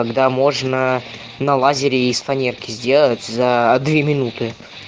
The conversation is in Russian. когда можно на лазере из фанерки сделать за две минуты